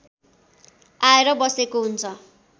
आएर बसेको हुन्छ